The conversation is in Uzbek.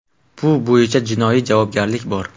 Bu bo‘yicha jinoiy javobgarlik bor.